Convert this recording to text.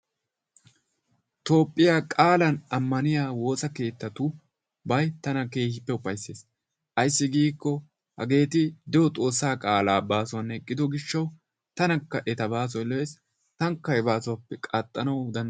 toophiyaa qaalan ammaniyaa woosa keettatubay tana keehin ufaysses. ayssi giikko hageeti de'o Xoossa qaala baasuwan eqqido gishshaw tanakka eta baasoy lo''ees. Taanikka he baasuwappe qaxxanaw dan...